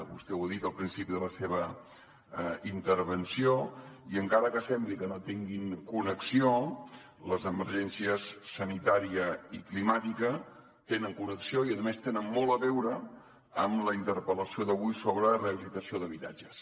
vostè ho ha dit al principi de la seva intervenció i encara que sembli que no tinguin connexió les emergències sanitària i climàtica tenen connexió i a més tenen molt a veure amb la interpel·lació d’avui sobre la rehabilitació d’habitatges